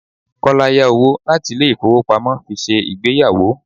Kọ́lá yá owó láti ilé ifowopamo fi ṣe ìgbéyàwó.